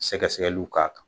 Sɛgɛsɛgɛli k'a kan.